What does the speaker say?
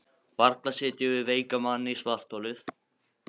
Varla setjum við veikan mann í svartholið?